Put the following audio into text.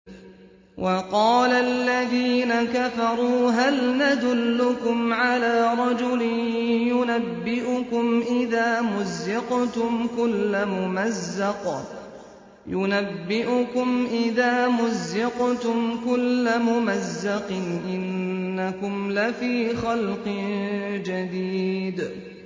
وَقَالَ الَّذِينَ كَفَرُوا هَلْ نَدُلُّكُمْ عَلَىٰ رَجُلٍ يُنَبِّئُكُمْ إِذَا مُزِّقْتُمْ كُلَّ مُمَزَّقٍ إِنَّكُمْ لَفِي خَلْقٍ جَدِيدٍ